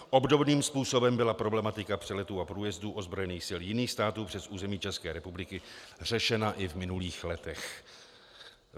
Obdobným způsobem byla problematika přeletů a průjezdů ozbrojených sil jiných států přes území České republiky řešena i v minulých letech.